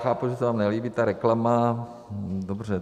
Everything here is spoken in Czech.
Chápu, že se vám nelíbí ta reklama, dobře.